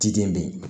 Ciden be yen